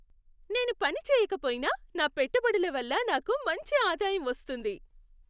నేను పనిచేయక పోయినా నా పెట్టుబడుల వల్ల నాకు మంచి ఆదాయం వస్తోంది.